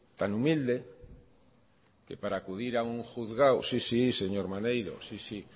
tan humilde que para acudir a un juzgado sí sí señor maneiro sí sí